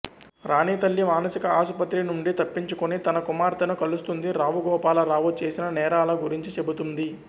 రాణి తల్లి మానసిక ఆసుపత్రి నుండి తప్పించుకొని తన కుమార్తెను కలుస్తుంది రావు గోపాలరావు చేసిన నేరాల గురించి చెబుతుంది